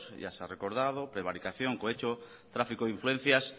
ya se ha recordado prevaricación cohecho tráfico de influencias